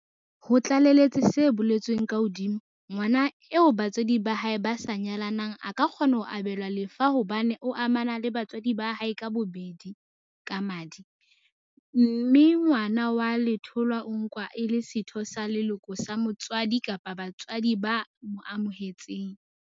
Ho tlaleletse se boletsweng ka hodima, ngwana eo ba tswadi ba hae ba sa nyalanang a ka kgona ho abelwa lefa hobane o amana le batswadi ba hae ka bobedi ka madi, mme ngwana wa letholwa o nkwa e le setho sa leloko sa motswadi kapa batswadi ba mo amohetseng.